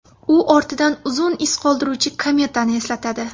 U ortidan uzun iz qoldiruvchi kometani eslatadi.